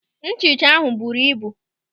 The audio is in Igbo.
Nhicha ahụ buru ibu.